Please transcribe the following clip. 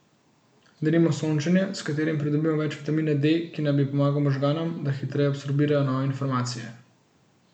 Denimo sončenje, s katerim pridobimo več vitamina D, ki naj bi pomagal možganom, da hitreje absorbirajo nove informacije.